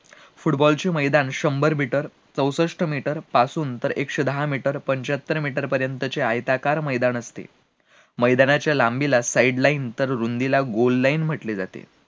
football चे मैदान शंभर मीटर, चौषष्ट मीटर पासून तर एकशे दहा मीटर, पंच्यात्तर मीटर पर्यंत चे आयताकार मैदान असते, मैदानाच्या लांबीला sideline तर रुंदीला goalline म्हंटले जाते